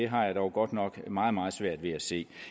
har jeg dog godt nok meget meget svært ved at se